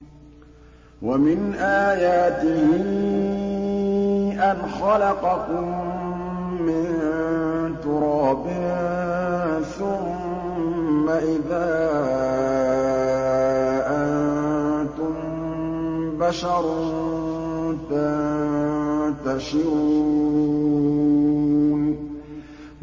وَمِنْ آيَاتِهِ أَنْ خَلَقَكُم مِّن تُرَابٍ ثُمَّ إِذَا أَنتُم بَشَرٌ تَنتَشِرُونَ